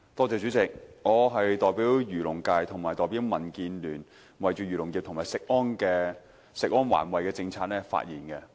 主席，我代表漁農界和民建聯，就漁農業、食品安全及環境衞生的政策發言。